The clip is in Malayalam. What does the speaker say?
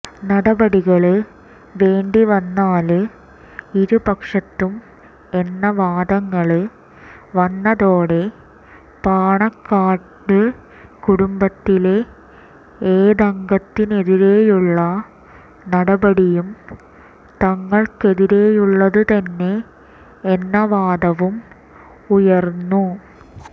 നടപടികള് വേണ്ടിവന്നാല് ഇരുപക്ഷത്തും എന്ന വാദങ്ങള് വന്നതോടെ പാണക്കാട് കുടുംബത്തിലെ ഏതംഗത്തിനെതിരേയുള്ള നടപടിയും തങ്ങള്ക്കെതിരേയുള്ളതുതന്നെ എന്ന വാദവും ഉയര്ന്നു